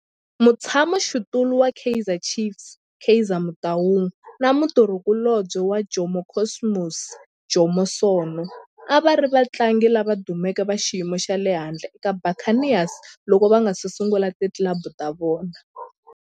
Mutshama xitulu wa Kaizer Chiefs Kaizer Motaung na mutirhi kulobye wa Jomo Cosmos Jomo Sono a va ri vatlangi lava dumeke va xiyimo xa le henhla eka Buccaneers loko va nga si sungula ti club ta vona.